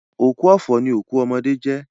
Òkú ọ̀fọ̀ ni òkú ọmọdé jẹ́